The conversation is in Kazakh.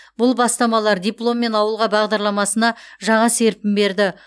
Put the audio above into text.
бұл бастамалар дипломмен ауылға бағдарламасына жаңа серпін берді